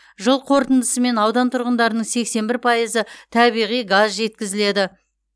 жыл қорытындысымен аудан тұрғындарының сексен бір пайызы табиғи газ жеткізіледі